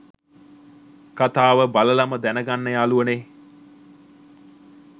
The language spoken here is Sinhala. කතාව බලලම දැනගන්න යාළුවනේ.